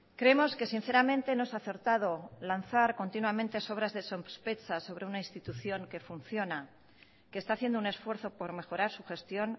creemos que sinceramente no es acertado lanzar continuamente sobras de sospechas sobre una institución que funciona que está haciendo un esfuerzo por mejorar su gestión